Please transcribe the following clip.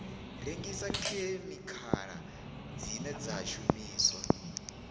rengisa khemikhala dzine dza shumiswa